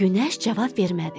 Günəş cavab vermədi.